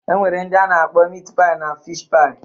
E nwere ndị a na-akpọ mit paị na fish-paị